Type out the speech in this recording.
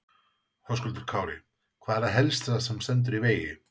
Höskuldur Kári: Hvað er það helst sem að stendur í vegi?